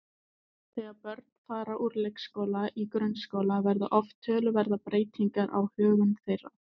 Þegar börn fara úr leikskóla í grunnskóla verða oft töluverðar breytingar á högum þeirra.